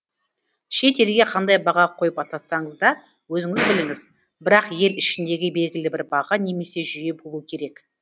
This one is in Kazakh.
шет елге қандай баға қойып атасаңыз да өзіңіз біліңіз бірақ ел ішіндегі белгілі бір баға немесе жүйе болуы керек